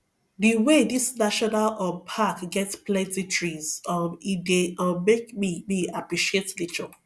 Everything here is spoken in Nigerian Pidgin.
the wey this national um pack get plenty trees um e dey um make me me appreciate nature